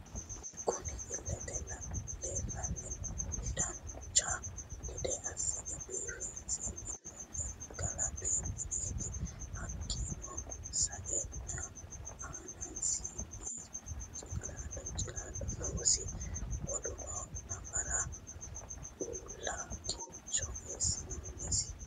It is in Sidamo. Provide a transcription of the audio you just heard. Kunni illete leelani noohu dancha gedde assine biifinse minoonni galani mineeti hakiino sa'eena aanasi hicilaallo noosi woluno nafara uula kincho eesinonisi.